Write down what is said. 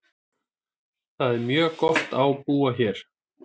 Það er mjög gott á búa hér.